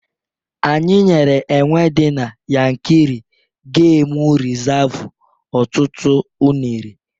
Anyị nyere enwe di na Yankari gemụ rizavụ ọtụtụ unere